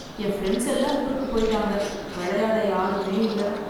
என் friends எல்லாம் ஊருக்கு போய்ட்டாங்க விளையாட யாருமே இல்லை.